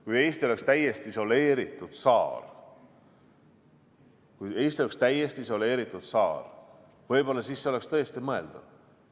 Kui Eesti oleks täiesti isoleeritud saar, siis see oleks võib-olla tõesti mõeldav.